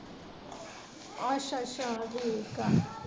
ਅੱਛਾ ਅੱਛਾ ਠੀਕ ਆ।